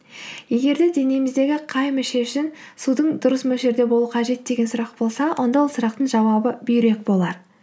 егер де денеміздегі қай мүше үшін судың дұрыс мөлшерде болуы қажет деген сұрақ болса онда ол сұрақтың жауабы бүйрек болар